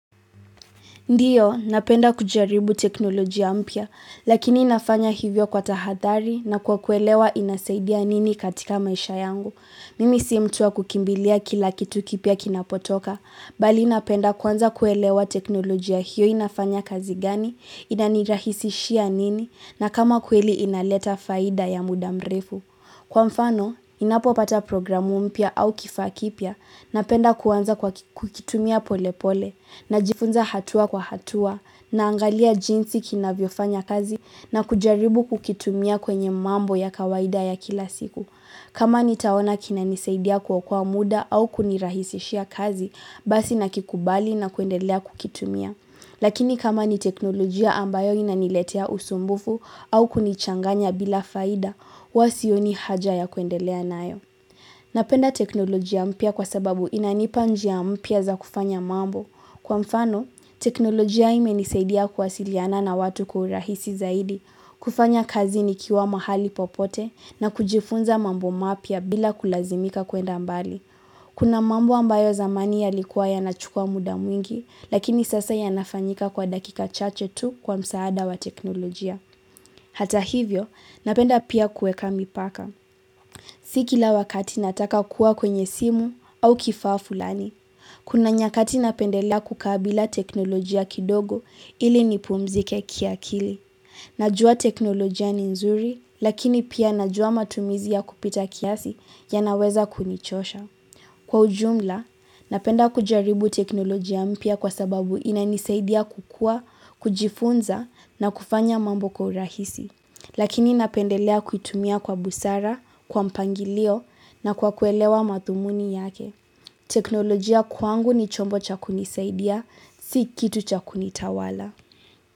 Ndio, napenda kujaribu teknolojia mpya, lakini nafanya hivyo kwa tahadhari na kwa kuelewa inasaidia nini katika maisha yangu. Mimi si mtu wa kukimbilia kila kitu kipya kinapotoka, bali napenda kwanza kuelewa teknolojia hiyo inafanya kazi gani, inanirahisishia nini, na kama kweli inaleta faida ya muda mrefu. Kwa mfano, inapopata programu mpya au kifaa kipya napenda kuanza kwa kukitumia pole pole najifunza hatua kwa hatua naangalia jinsi kinavyofanya kazi na kujaribu kukitumia kwenye mambo ya kawaida ya kila siku. Kama nitaona kinanisaidia kuokoa muda au kunirahisishia kazi, basi nakikubali na kuendelea kukitumia. Lakini kama ni teknolojia ambayo inaniletea usumbufu au kunichanganya bila faida, huwa sioni haja ya kuendelea nayo. Napenda teknolojia mpya kwa sababu inanipa njia mpya za kufanya mambo. Kwa mfano, teknolojia imenisaidia kuwasiliana na watu kwa urahisi zaidi, kufanya kazi nikiwa mahali popote na kujifunza mambo mapya bila kulazimika kuenda mbali. Kuna mambo ambayo zamani yalikuwa yanachukua muda mwingi, lakini sasa yanafanyika kwa dakika chache tu kwa msaada wa teknolojia. Hata hivyo, napenda pia kuweka mipaka. Si kila wakati nataka kuwa kwenye simu au kifaa fulani. Kuna nyakati napendelea kukaa bila teknolojia kidogo ili nipumzike kiakili. Najua teknolojia ni nzuri, lakini pia najua matumizi ya kupita kiasi yanaweza kunichosha. Kwa ujumla, napenda kujaribu teknolojia mpya kwa sababu inanisaidia kukuwa, kujifunza na kufanya mambo kwa urahisi. Lakini napendelea kuitumia kwa busara, kwa mpangilio na kwa kuelewa mathumuni yake. Teknolojia kwangu ni chombo cha kunisaidia, si kitu cha kunitawala.